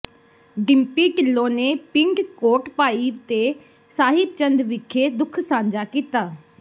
ਡਿੰਪੀ ਢਿੱਲੋਂ ਨੇ ਪਿੰਡ ਕੋਟਭਾਈ ਤੇ ਸਾਹਿਬ ਚੰਦ ਵਿਖੇ ਦੁੱਖ ਸਾਂਝਾ ਕੀਤਾ